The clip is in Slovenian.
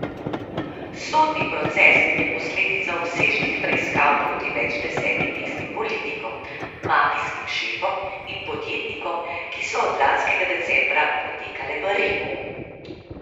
Sodni proces je posledica obsežnih preiskav proti več deset mestnim politikom, mafijskim šefom in podjetnikom, ki so od lanskega decembra potekale v Rimu.